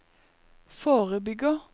forebygger